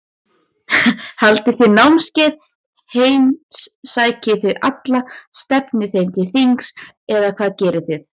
Haldið þið námskeið, heimsækið þið alla, stefnið þeim til þings eða hvað gerið þið?